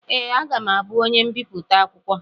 Ee, aga m abụ onye mbipụta akwụkwọ.